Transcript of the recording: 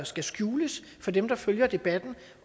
skal skjules for dem der følger debatten